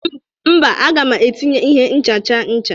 mba, aga m etinye ihe nchacha ncha